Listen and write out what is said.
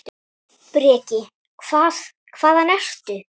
Breki: Hvað, hvaðan ertu?